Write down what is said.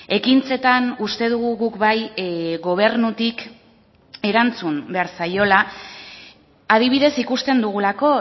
ekintzetan uste dugu guk bai gobernutik erantzun behar zaiola adibidez ikusten dugulako